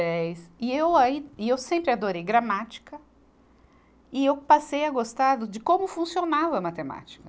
E eu aí, e eu sempre adorei gramática, e eu passei a gostar do de como funcionava a matemática.